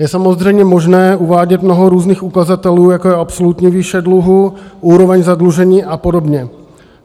Je samozřejmě možné uvádět mnoho různých ukazatelů, jako je absolutní výše dluhu, úroveň zadlužení a podobně.